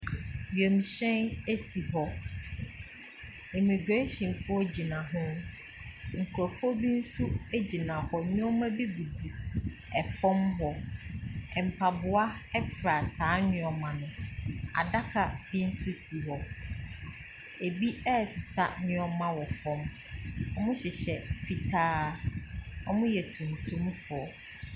Wiemhyɛn si hɔ. Emigirehyenfoɔ gyina hɔ. Nkurɔfoɔ bi nso gyina hɔ. Nneɛma bi gugu fam hɔ. Mpaboa fra saa nneɛma no. Adaka bi nso si hɔ. Ebi resesa nneɛma wɔ fam. Wɔhyehyɛ fitaa. Wɔyɛ tuntumfoɔ.